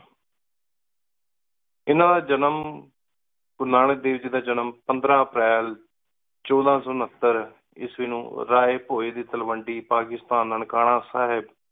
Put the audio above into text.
ਇੰਨਾ ਦਾ ਜਨਮ ਗੁਰੂ ਨਾਨਕ ਦੇਵ ਜੀ ਦਾ ਜਨਮ ਪੰਦਰਾਂ ਅਪ੍ਰੈਲ ਚੌਦਾਂ ਸੌ ਉਣਹਤਰ ਈਸਵੀ ਨੌ ਰਾਏ ਭੋਇ ਦੀ ਤਲਵੰਡੀ ਪਾਕਿਸਤਾਨ ਨਨਕਾਣਾ ਸਾਹੇਬ